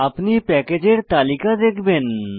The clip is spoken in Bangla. আপনি প্যাকেজের তালিকা দেখবেন